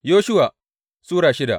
Yoshuwa Sura shida